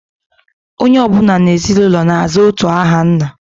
Onye ọ bụla n'ezinụlọ na-aza otu aha nna